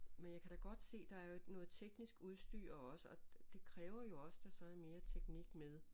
Men jeg kan da godt se der er jo noget teknisk udstyr også og det kræver jo også der så er mere teknik med